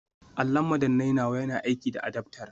Allon madannai nawa yana aiki da adaftar